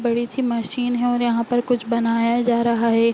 बड़ी-सी मशीन है और यहां पर कुछ बनाया जा रहा है।